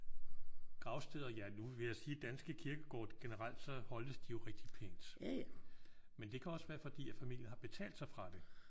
Gravsteder ja nu vil jeg sige danske kirkegårde generelt så holdes de jo rigtig pænt. Men det kan også være fordi at familien har betalt sig fra det